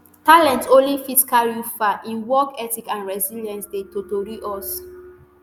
talent only fit carry you far im work ethic and resilience dey totori us